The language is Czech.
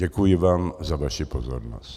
Děkuji vám za vaši pozornost.